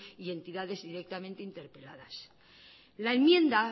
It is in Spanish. y entidades directamente interpeladas la enmienda